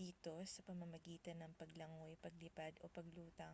dito sa pamamagitan ng paglangoy paglipad o paglutang